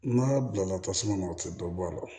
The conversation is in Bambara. N'a bila la tasuma na o tɛ dɔ bɔ a la